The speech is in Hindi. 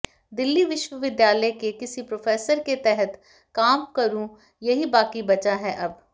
दिल्ली विश्वविद्यालय के किसी प्रोफेसर के तहत काम करूं यही बाकी बचा है अब